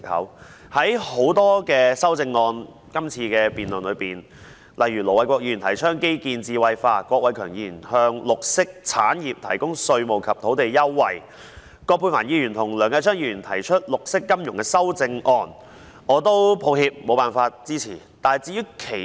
這次辯論的很多修正案中，盧偉國議員提倡基建智慧化，郭偉强議員提出向綠色產業提供稅務及土地優惠，葛珮帆議員和梁繼昌議員提出發展綠色金融，我無法支持這些修正案。